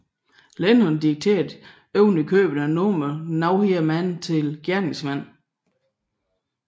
Lennon dedikerede ovenikøbet nummeret Nowhere Man til gerningsmanden